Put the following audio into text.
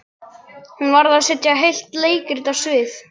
Hún varð að setja heilt leikrit á svið.